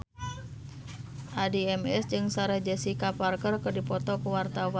Addie MS jeung Sarah Jessica Parker keur dipoto ku wartawan